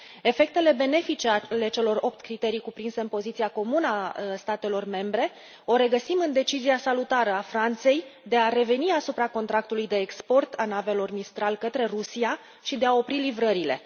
Efectele benefice ale celor opt criterii cuprinse în poziția comună a statelor membre le regăsim în decizia salutară a Franței de a reveni asupra contractului de export al navelor mistral către Rusia și de a opri livrările.